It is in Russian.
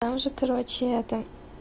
там уже короче это